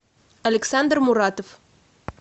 александр муратов